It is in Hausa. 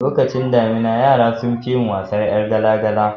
Lokacin damina yara sunfi yin wasan yar gala gala